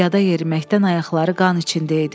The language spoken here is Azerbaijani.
Piyada yeriməkdən ayaqları qan içində idi.